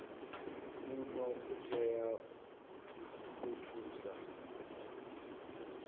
muno u itela u thusa